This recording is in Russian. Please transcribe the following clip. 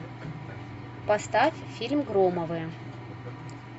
поставь фильм громовы